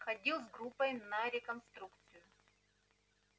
ходил с группой на реконструкцию